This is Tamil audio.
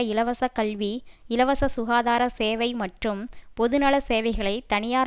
இலவச கல்வி இலவச சுகாதார சேவை மற்றும் பொதுநல சேவைகளை தனியார்